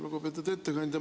Lugupeetud ettekandja!